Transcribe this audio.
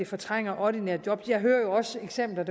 fortrænger ordinære job jeg hører jo også eksempler